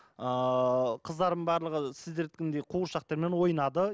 ыыы қыздарым барлығы сіздердікіндей қуыршақтармен ойнады